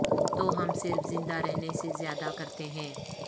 تو ہم صرف زندہ رہنے سے زیادہ کرتے ہیں